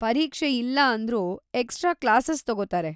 ಪರೀಕ್ಷೆ ಇಲ್ಲ ಅಂದ್ರೂ ಎಕ್ಸ್‌ಟ್ರಾ ಕ್ಲಾಸಸ್‌ ತಗೋತಾರೆ.